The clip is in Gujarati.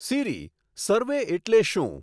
સીરી સર્વે એટલે શું